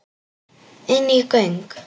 Inní göng.